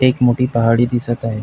एक मोठी पहाडी दिसत आहे.